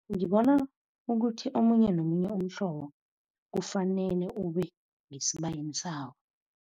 Ngibona ukuthi omunye nomunye umhlobo kufanele ube ngesibayeni sawo.